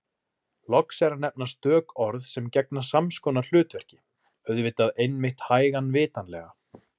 Loks er að nefna stök orð sem gegna sams konar hlutverki: auðvitað einmitt hægan vitanlega